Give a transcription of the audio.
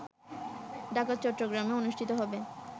ঢাকা ও চট্টগ্রামে অনুষ্ঠিত হবে